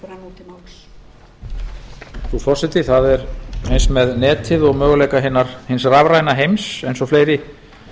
frú forseti það er eins með netið og möguleika hins rafræna heims eins og fleiri